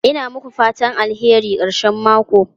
Ina muku fatan alheri karshen mako.